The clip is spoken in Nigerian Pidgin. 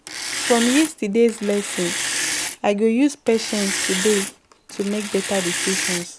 From yesterday's lesson, I go use patience today to make better decisions.